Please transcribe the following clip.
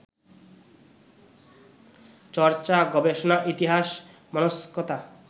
চর্চা, গবেষণা, ইতিহাস-মনস্কতা